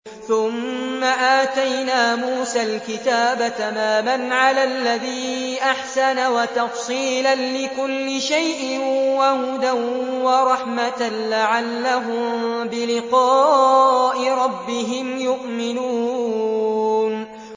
ثُمَّ آتَيْنَا مُوسَى الْكِتَابَ تَمَامًا عَلَى الَّذِي أَحْسَنَ وَتَفْصِيلًا لِّكُلِّ شَيْءٍ وَهُدًى وَرَحْمَةً لَّعَلَّهُم بِلِقَاءِ رَبِّهِمْ يُؤْمِنُونَ